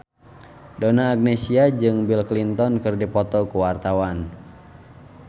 Donna Agnesia jeung Bill Clinton keur dipoto ku wartawan